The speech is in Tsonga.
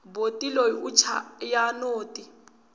boti loyi u chaya noti